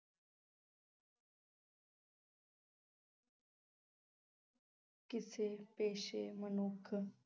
ਕਿਸੇ ਪੇਸ਼ੇ, ਮਨੁੱਖ,